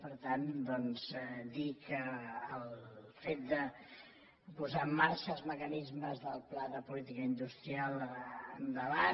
per tant doncs dir que al fet de posar en marxa els mecanismes del pla de política d’industrial endavant